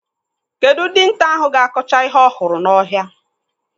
Kedụ dinta ahụ ga-akọcha ihe ọhụrụ n'ọhịa?